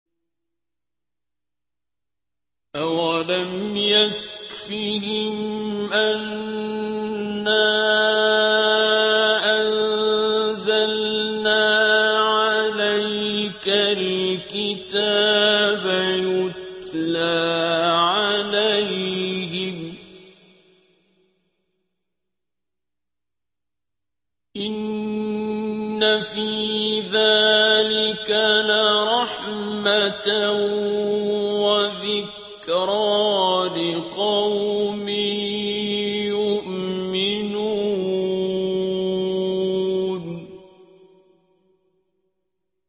أَوَلَمْ يَكْفِهِمْ أَنَّا أَنزَلْنَا عَلَيْكَ الْكِتَابَ يُتْلَىٰ عَلَيْهِمْ ۚ إِنَّ فِي ذَٰلِكَ لَرَحْمَةً وَذِكْرَىٰ لِقَوْمٍ يُؤْمِنُونَ